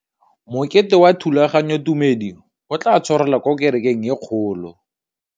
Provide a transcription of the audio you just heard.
Mokete wa thulaganyôtumêdi o tla tshwarelwa kwa kerekeng e kgolo.